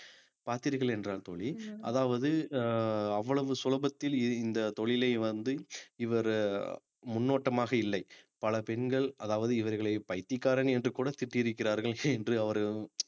பார்த்தீர்கள் என்றால் தோழி அதாவது அஹ் அவ்வளவு சுலபத்தில் இந்த தொழிலை வந்து இவரு முன்னோட்டமாக இல்லை பல பெண்கள் அதாவது இவர்களை பைத்தியக்காரன் என்று கூட திட்டியிருக்கிறார்கள் என்று அவர்கள்